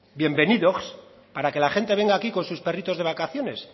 bienvenidogs para que la gente venga aquí con sus perritos de vacaciones